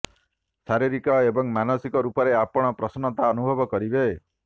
ଶାରୀରିକ ଏବଂ ମାନସିକ ରୂପରେ ଆପଣ ପ୍ରସନ୍ନତା ଅନୁଭବ କରିବେ